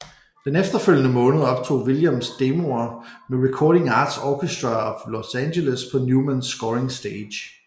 Den efterfølgende måned optog Williams demoer med Recording Arts Orchestra of Los Angeles på Newman Scoring Stage